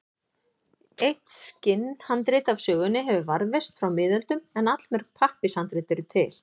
Eitt skinnhandrit af sögunni hefur varðveist frá miðöldum en allmörg pappírshandrit eru til.